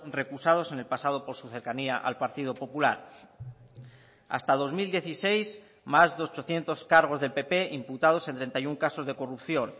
recusados en el pasado por su cercanía al partido popular hasta dos mil dieciséis más de ochocientos cargos del pp imputados en treinta y uno casos de corrupción